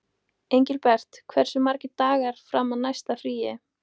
Engilbert, hversu margir dagar fram að næsta fríi?